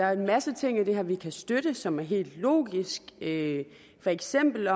er en masse ting i det her vi kan støtte og som er helt logiske for eksempel